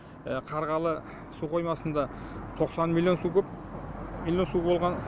қарғалы су қоймасында тоқсан миллион су куб су болған